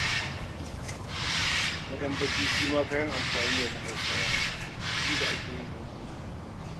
Madambaci shi ma kayan amfani ne na Hausawa, inda ake yin dambu da shi.